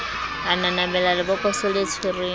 a nanabela lebokoso le tshwereng